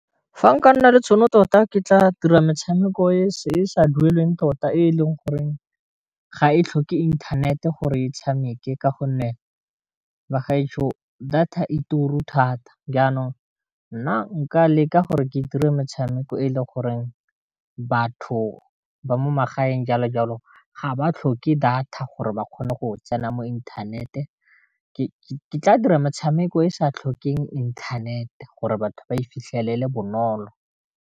Fa nka nna le tšhono tota ke tla dira metshameko e sa dueleng tota e leng goreng ga e tlhoke inthanete gore e tshameke ka gonne, bagaetsho data e turu thata, jaanong nna nka leka gore ke dire metshameko e le goreng batho ba mo magaeng jalo jalo ga ba tlhoke data gore ba kgone go tsena mo inthanete ke tla dira metshameko e sa tlhokeng inthanete, gore batho ba e fitlhelele bonolo.